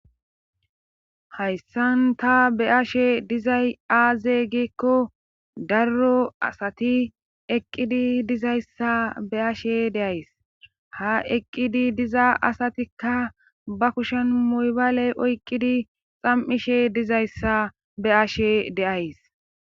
Hayssan ta be ashe dizay aazey gikko darro asati eqqidi dizayssa be ashe deays ha eqqidi diza asatikka ba kushen moybaale oyqqidi xam'ishe dizayssa be ashe deays.